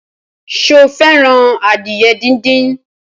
Sọ fẹ́ràn adìyẹ díndín?